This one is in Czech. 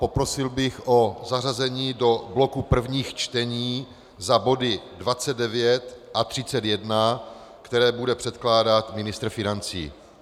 Poprosil bych o zařazení do bloku prvních čtení za body 29 a 31, které bude předkládat ministr financí.